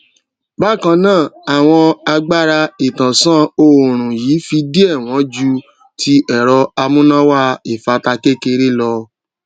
bákan náà àwọn agbáraìtànsánòòrùn yìí fi díẹ wọn jú tí ẹrọ amúnáwá ìfátà kékeré lọ